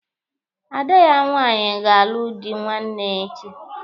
Ada ya nwaanyị ga-alụ dị nwanne echi.